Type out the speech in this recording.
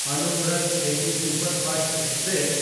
Anuvrat AC superfast express